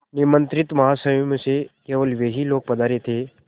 निमंत्रित महाशयों में से केवल वे ही लोग पधारे थे